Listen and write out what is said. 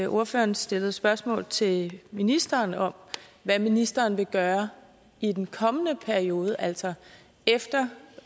ordføreren stillede spørgsmål til ministeren om hvad ministeren vil gøre i den kommende periode altså efter